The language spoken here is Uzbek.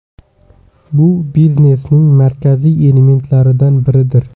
Bu biznesning markaziy elementlaridan biridir.